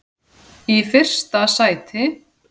í fyrsta sæti.